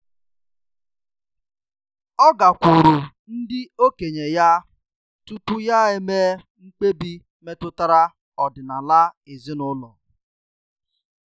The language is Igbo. Ọ́ gàkwùùrù ndị okenye ya tupu yá émé mkpebi métụ́tárà ọ́dị́nála ezinụlọ.